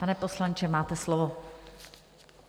Pane poslanče, máte slovo.